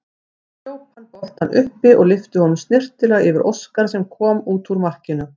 Hljóp hann boltann upp og lyfti honum snyrtilega yfir Óskar sem kom út úr markinu.